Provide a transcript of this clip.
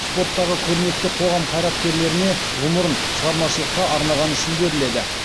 спорттағы көрнекті қоғам қайраткерлеріне ғұмырын шығармашылыққа арнағаны үшін беріледі